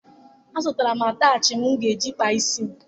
Azụtara m ataachị m ga-eji kpaa isi m